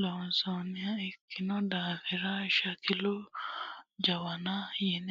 loonsonniha ikkino daafira shakilu jawanna yine woshinanni